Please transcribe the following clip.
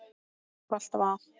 Halli var alltaf að.